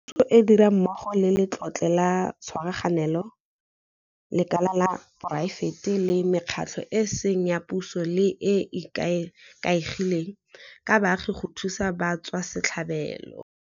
Puso e dira mmogo le Letlole la Tshwaraganelo, lekala la poraefete le mekgatlho e e seng ya puso le e e ikaegileng ka baagi go thusa batswasetlhabelo.